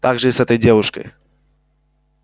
так же и с этой девушкой